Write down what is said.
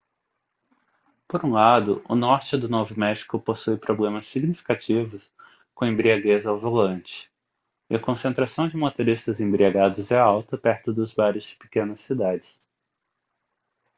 por um lado o norte do novo méxico possui problemas significativos com embriaguez ao volante e a concentração de motoristas embriagados é alta perto dos bares de pequenas cidades